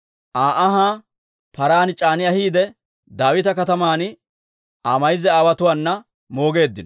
Aa ahaa paran c'aani ahiidde, Daawita Kataman Aa mayza aawotuwaana moogeeddino.